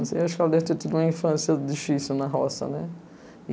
Acho que ela deve ter tido uma infância difícil na roça, né?